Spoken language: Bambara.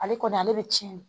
Ale kɔni ale bɛ tiɲɛ de